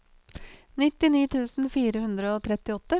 nittini tusen fire hundre og trettiåtte